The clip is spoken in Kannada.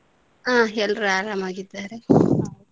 ಹಾ ಎಲ್ಲರು ಆರಾಮಾಗಿದ್ದಾರೆ.